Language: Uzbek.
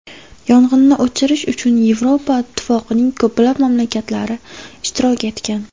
Yong‘inni o‘chirish uchun Yevropa Ittifoqining ko‘plab mamlakatlari ishtirok etgan.